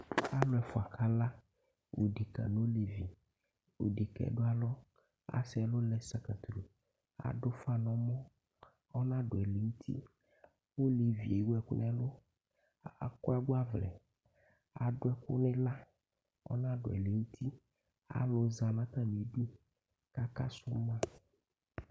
Ɔlu ɛfua kala odeke n'olevi Odek'ɛ du alɔ asɛ'lɔ lɛ sakatru, ad'ufa n'ɔmɔ ɔna du ɛlɛnti, olevie ewuɛku nɛlu, aku agbaʋlɛ adu ɛku n'iɣla k'ɔnadu ɛlenti alu za n'atamidu kaka su ma